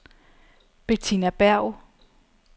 Betina Berg